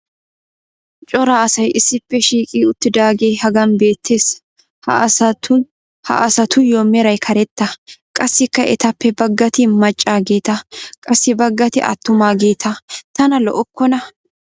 cora asay issippe shiiqi uttidaagee hagan beetees. ha asatuyoo meray karetta. qassikka etappe bagatti maccaageeta qassi bagati attumaageeta. tana lo'okkona.